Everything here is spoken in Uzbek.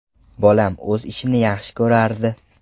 Bolam o‘z ishini yaxshi ko‘rardi.